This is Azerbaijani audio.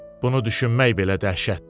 Bunu düşünmək belə dəhşətdir.